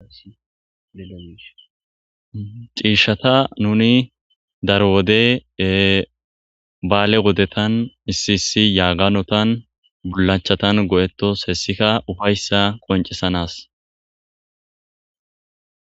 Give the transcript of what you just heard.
cishshatta nuni daro wode ee balle wodetan issi issi yagganotan bullachchatan go'ettos hessikka uffaysa qonccisanas